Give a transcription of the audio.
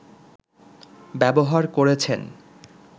ব্যবহার করেছেন